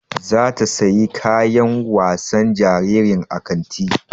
Zata siyi kayan wasa jaririn a kanti